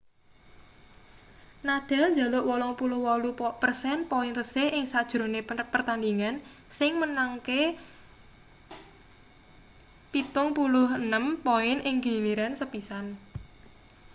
nadal njaluk 88% poin resik ing sajrone pertandhingan sing menangke 76 poin ing giliran sepisan